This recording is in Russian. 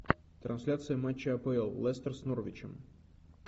трансляция матча апл лестер с норвичем